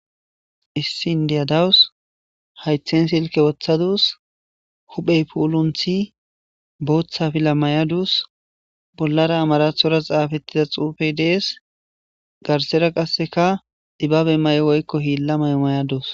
Issin diyadawus haythen silke woththaduus huphey puulunthi booththa fila mayadus bollara amarathora xaafettida xuufey dees garsera qasseka ibaabe may'o woykko hiilla mayo mayadus.